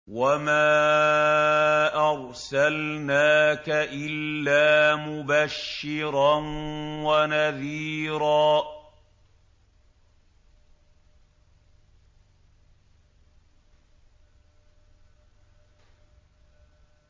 وَمَا أَرْسَلْنَاكَ إِلَّا مُبَشِّرًا وَنَذِيرًا